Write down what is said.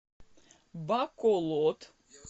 баколод